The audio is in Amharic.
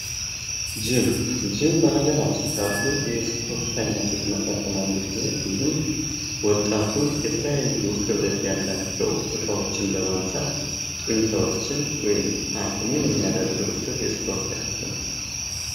ጅም ። ጅም በሀገራችን ካሉ የስፖርት አይነቶች መካከል አንዱ ሲሆን ይህም ወጣቱ የተለያዩ ክብደት ያላቸው እቃዎችን በማንሳት ጡንቻዎችን ወይም አቅሙን የሚያዳብርበት የስፖርት አይነት ነው ።